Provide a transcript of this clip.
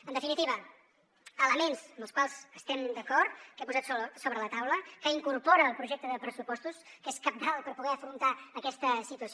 en definitiva elements amb els quals estem d’acord que he posat sobre la taula que incorpora el projecte de pressupostos que és cabdal per poder afrontar aquesta situació